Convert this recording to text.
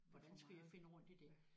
Det er for meget ja